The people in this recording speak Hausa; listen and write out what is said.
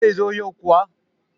zai zo yau kuwa?